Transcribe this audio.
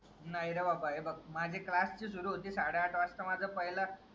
नाही रे बाबा हे बघ माझे क्लास जी सूरू होते साडे आठ वाजता माझा पहिला